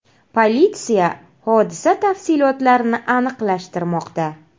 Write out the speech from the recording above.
Politsiya hodisa tafsilotlarini aniqlashtirmoqda.